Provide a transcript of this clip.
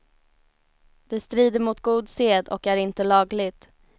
Det strider mot god sed och är inte lagligt.